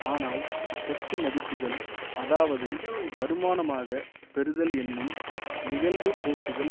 ஆனால் சொத்து மதிப்புக்கள் அதாவது வருமானமாக பெறுதல் என்னும் நிகழ்வுப்போக்குகள்